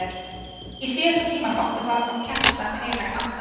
Í síðasta tímanum átti að fara fram kennsla um heilagan anda.